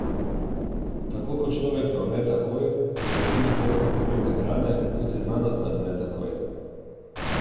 Tako kot človek ne umre takoj, ko ne dobi življenjsko pomembne hrane, tudi znanost ne odmre takoj.